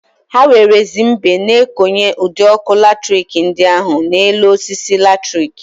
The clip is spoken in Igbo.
Ha werezie mbe na-ekonye ụd'ọkụ latrik ndị ahụ n'enu osisi latrik.